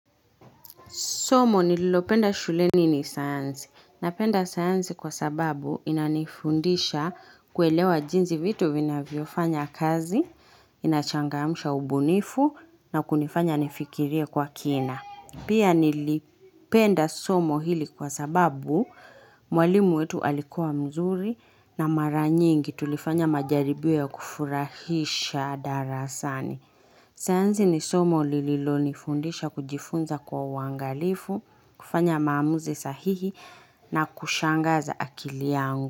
Somo nililopenda shuleni ni sayansi Napenda sayansi kwa sababu inanifundisha kuelewa jinzi vitu vinavyofanya kazi, inachangamsha ubunifu na kunifanya nifikirie kwa kina. Pia nilipenda somo hili kwa sababu mwalimu wetu alikuwa mzuri na maranyingi tulifanya majaribio ya kufurahisha darasani. Sayansi ni somo lililonifundisha kujifunza kwa uangalifu, kufanya maamuzi sahihi na kushangaza akili yangu.